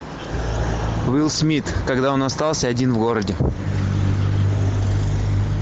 уилл смит когда он остался один в городе